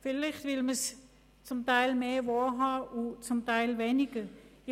vielleicht will man es zum Teil mehr und zum Teil weniger wahrhaben.